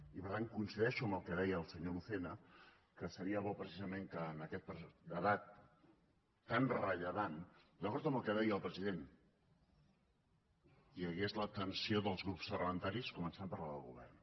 i per tant coincideixo amb el que deia el senyor lucena que seria bo precisament que en aquest debat tan rellevant d’acord amb el que deia el president hi hagués l’atenció dels grups parlamentaris començant per la del govern